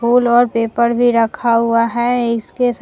full और paper भी रखा हुआ है इसके सा --